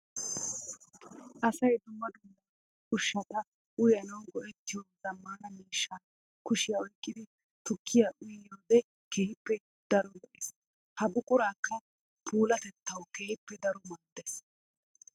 Asay dumma dumma ushshatta uyanawu go'ettiyo zamaana miishshaa kushiya oyqqiddi tukkiya uyiyoode keehippe daro lo'ees. Ha buquraykka puulatettawu keehippe daro maades.